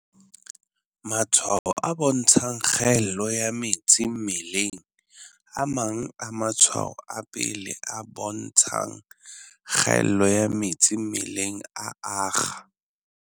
Matshwao a bontshang kgaello ya metsi mmelengA mang a matshwao a pele a bontshang kgaello ya metsi mmeleng a akga.